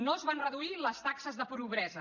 no es van reduir les taxes de pobresa